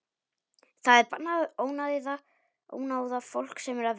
Það er bannað að ónáða fólk sem er að vinna.